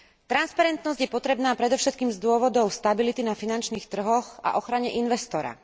Transparentnosť je potrebná predovšetkým z dôvodov stability na finančných trhoch a ochrany investora.